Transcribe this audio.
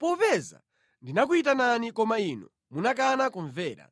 Popeza ndinakuyitanani koma inu munakana kumvera.